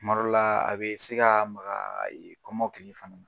Kuma dɔw la a be se ka maga kɔmɔkili fan